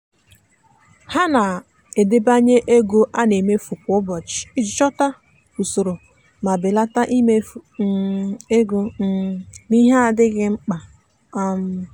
ha na-edebanye ego a na-emefu kwa ụbọchị iji chọta usoro ma belata imefu um ego um n'ihe adịghị mkpa. um